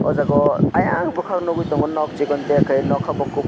o jaga o ayang bokak nogoi tango nog sikontiya kaiyoe noka bo kopor.